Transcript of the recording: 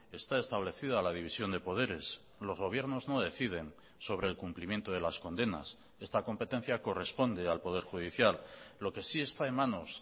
está establecida la división de poderes los gobiernos no deciden sobre el cumplimiento de las condenas esta competencia corresponde al poder judicial lo que sí está en manos